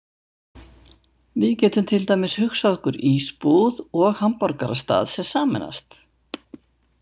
Við getum til dæmis hugsað okkur ísbúð og hamborgarastað sem sameinast.